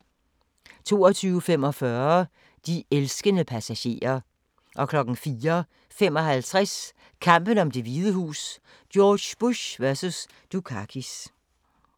02:45: De elskende passagerer 04:55: Kampen om Det Hvide Hus: George Bush vs. Dukakis